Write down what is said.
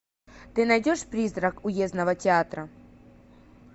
ты найдешь призрак уездного театра